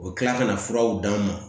U bɛ tila kana furaw d'a ma